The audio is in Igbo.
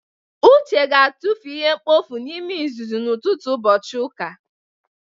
Uche ga-atụfu ihe mkpofu n'ime uzuzu n'ụtụtụ ụbọchị ụka.